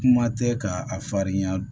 Kuma tɛ ka a farinya